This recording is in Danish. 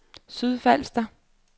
Sydfalster